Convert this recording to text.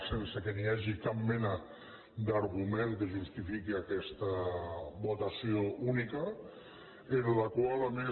sense que hi hagi cap mena d’argument que justifiqui aquesta votació única amb la qual a més